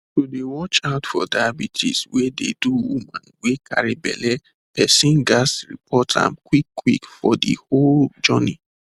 to dey watch out for diabetes wey dey do woman wey carry belle person ghats report am quick quick for de whole journey